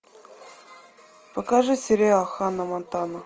покажи сериал ханна монтана